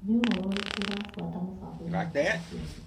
Nĩ ũhoro ũrĩkũ ũrabuata mũbango-inĩ wakwa wa ciathĩ ?